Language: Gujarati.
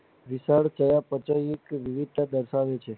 વિચાર થવા પ્રચલિત કે વિવિધતા દર્શાવે છે